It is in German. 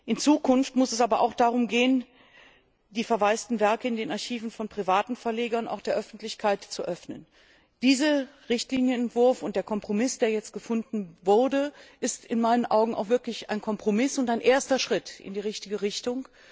In Zukunft muss es aber auch darum gehen, die verwaisten Werke in den Archiven von privaten Verlegern der Öffentlichkeit zu öffnen. Dieser Richtlinienentwurf und der Kompromiss, der jetzt gefunden wurde, ist in meinen Augen auch wirklich ein Kompromiss und ein erster Schritt in die richtige Richtung.